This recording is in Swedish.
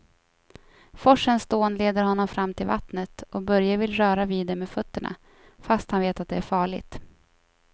Forsens dån leder honom fram till vattnet och Börje vill röra vid det med fötterna, fast han vet att det är farligt.